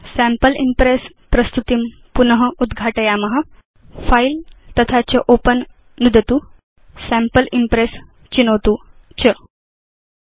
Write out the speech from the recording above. वयं फिले तथा च ओपेन नुदित्वा सैम्पल इम्प्रेस् चित्वा च सैम्पल इम्प्रेस् प्रस्तुतिं पुन उद्घाटयाम